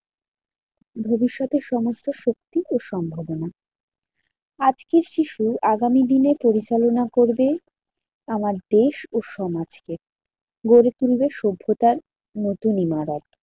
ভবিষ্যতের সমস্ত শক্তি ও সম্ভবনা। আজকের শিশু আগামী দিনে পরিচালনা করবে আমার দেশ ও সমাজকে। গড়ে তুলবে সভ্যতার নতুন ইমারত।